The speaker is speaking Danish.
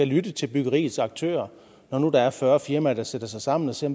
lytte til byggeriets aktører når nu der er fyrre firmaer der sætter sig sammen og ser